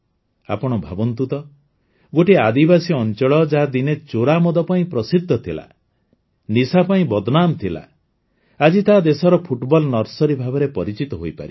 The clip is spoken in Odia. ଆପଣ ଭାବନ୍ତୁ ତ ଗୋଟିଏ ଆଦିବାସୀ ଅଞ୍ଚଳ ଯାହା ଦିନେ ଚୋରା ମଦ ପାଇଁ ପ୍ରସିଦ୍ଧ ଥିଲା ନିଶା ପାଇଁ ବଦନାମ୍ ଥିଲା ଆଜି ତାହା ଦେଶର ଫୁଟବଲ ନର୍ସରୀ ଭାବରେ ପରିଚିତ ହୋଇପାରିଛି